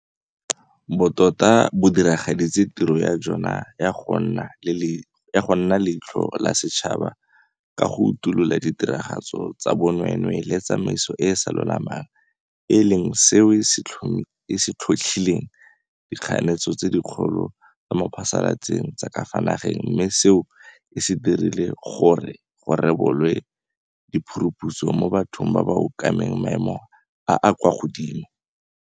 Bo tota bo diragaditse tiro ya jona ya go nna leitlho la setšhaba ka go utolola ditiragalo tsa bonweenwee le tsa tsamaiso e e sa lolamang, e leng seo se tlhotlhileng dikganetsano tse dikgolo tsa mo phasalatseng tsa ka fa nageng mme seo se dirile gore go rebolwe di phuruphutso mo bathong ba ba okameng maemo a a kwa godimo.